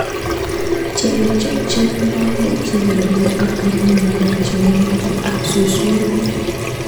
Chetoko che ngeme ako konu miondo cheu imet ap suwet.